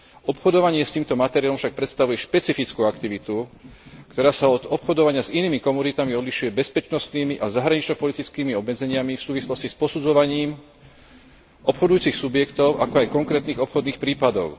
Obchodovanie s týmto materiálom však predstavuje špecifickú aktivitu, ktorá sa od obchodovania s inými komoditami odlišuje bezpečnostnými a zahranično politickými obmedzeniami v súvislosti s posudzovaním obchodujúcich subjektov, ako aj konkrétnych obchodných prípadov.